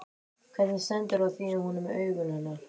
Hvernig stendur á því að hún er með augun hennar?